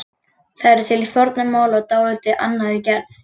Það er til í fornu máli í dálítið annarri gerð.